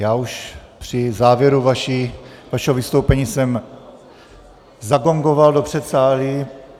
Já už při závěru vašeho vystoupení jsem zagongoval do předsálí.